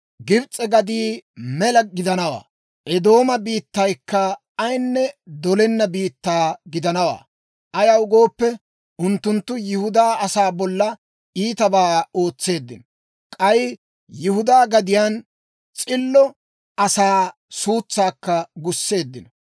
«Gibs'e gaddii mela gidanawaa; Eedooma biittaykka ayinne dolenna biittaa gidanawaa. Ayaw gooppe, unttunttu Yihudaa asaa bolla iitabaa ootseeddino; k'ay Yihudaa gadiyaan s'illo asaa suutsaakka gusseeddino.